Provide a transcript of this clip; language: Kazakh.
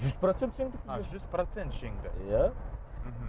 жүз процент жеңді а жүз процент жеңді иә мхм